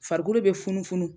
Farikolo be funufunu